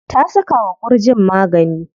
Ta saka wa ƙurjin magani.